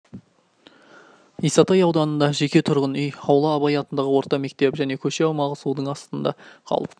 исатай ауданында жеке тұрғын үй аула абай атындағы орта мектеп және көше аумағы судың астында қалып